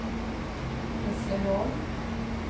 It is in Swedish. Hässleholm